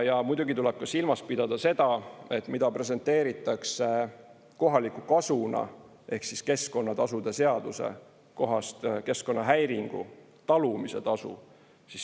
Ja muidugi tuleb ka silmas pidada seda, mida presenteeritakse kohaliku kasuna ehk keskkonnatasude seaduse kohast keskkonnahäiringu talumise tasu.